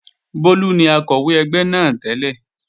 Bólú ni Akọ̀wé ẹgbẹ́ náà tẹ́lẹ̀